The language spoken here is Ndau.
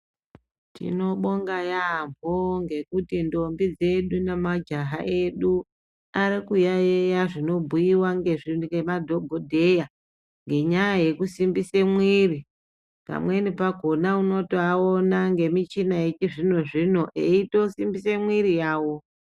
Tinobonga yaampho ngekuti ntombi dzedu nemajaha edu arikuyaeya zvinobhuiwa ngemadhokodheya ngenyaya yekusimbise mwiri. Pamweni pakhona unotoaona ngemuchina yechizvino zvino eitosimbisa mwiri yawo.